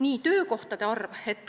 Nii, töökohtade arv.